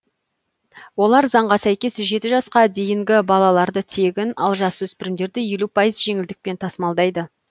олар заңға сәйкес жеті жасқа дейінгі балаларды тегін ал жасөспірімдерді елу пайыз жеңілдікпен тасымалдайды